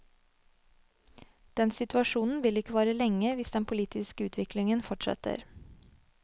Den situasjonen vil ikke vare lenge hvis den politiske utviklingen fortsetter.